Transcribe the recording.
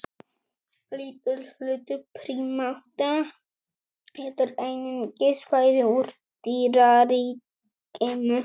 Lítill hluti prímata étur einungis fæðu úr dýraríkinu.